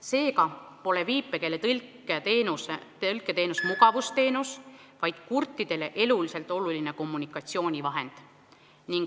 Seega pole viipekeele tõlke teenus mugavusteenus, vaid kurtidele eluliselt oluline kommunikatsioonivahend.